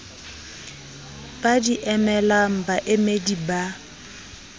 ba di emelang baemedi ba